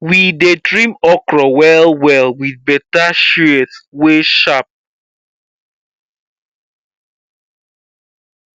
we dey trim okra wellwell with better shears wey sharp